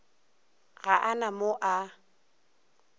ga a na mo a